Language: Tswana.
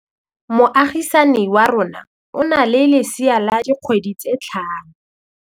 Moagisane wa rona o na le lesea la dikgwedi tse tlhano.